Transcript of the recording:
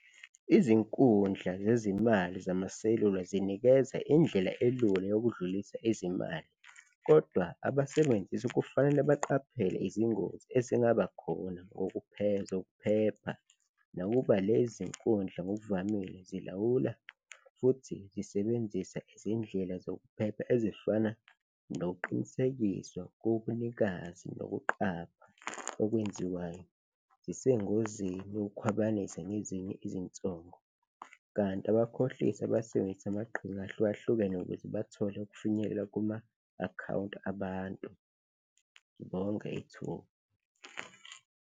Izinkundla zezimali zamaselula zinikeza indlela elula yokudlulisa izimali kodwa abasebenzisi kufanele baqaphele izingozi ezingaba khona zokuphepha. Nakuba lezi zinkundla ngokuvamile zilawula futhi zisebenzisa izindlela zokuphepha ezifana nokuqinisekiswa kobunikazi nokuqapha okwenziwayo, zisengozini yokukhwabanisa ngezinye izinsongo kanti abakhohlisi abasebenzisa amaqhinga ahlukahlukene ukuze bathole ukufinyelela kuma akhawunti abantu. Ngibonge ithuba.